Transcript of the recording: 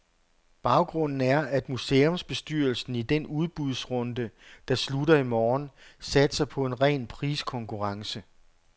Baggrunden er, at museumsbestyrelsen i den udbudsrunde, der slutter i morgen, satser på en ren priskonkurrence.